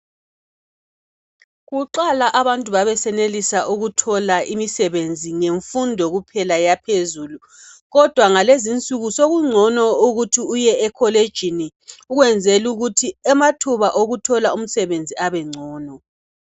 Kuqala abantu babesenelisa ukuthola ukuthola imisebenzi ngemfundo kuphela yaphezulu kodwa ngalezi insuku sokungcono ukuthi uye e kholejini ukwenzeli ukuthi amathuba okuthola umsebenzi abe ngcono